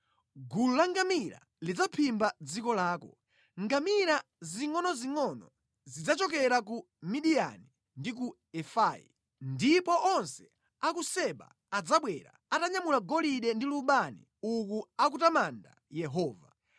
Gulu la ngamira lidzaphimba dziko lako, ngamira zingʼonozingʼono zidzachokera ku Midiyani ndi ku Efai. Ndipo onse a ku Seba adzabwera atanyamula golide ndi lubani uku akutamanda Yehova.